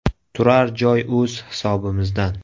Turar joy o‘z hisobimizdan.